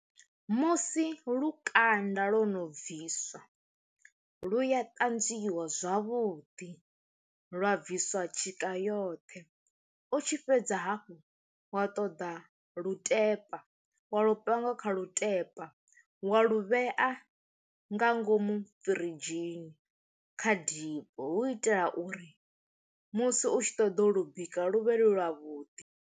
Musi lukanda lwo no bviswa lu ya ṱanzwiwa zwavhuḓi lwa bviswa tshika yoṱhe, u tshi fhedza hafhu wa ṱoḓa lutepa wa lu panga kha lutepa wa lovhea nga ngomu firidzhi dzinn kha depo, hu itela uri musi u tshi ṱoḓa u lu bika luvhilo lwa vhuḓi.